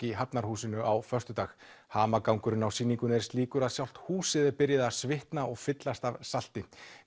í Hafnarhúsinu á föstudag hamagangurinn á sýningunni er slíkur að sjálft húsið er byrjað að svitna og fyllast af salti